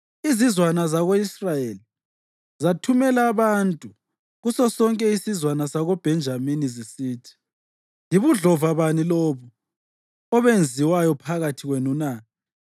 Izizwana zako-Israyeli zathumela abantu kusosonke isizwana sakoBhenjamini, zisithi, “Yibudlova bani lobu obenziwayo phakathi kwenu na?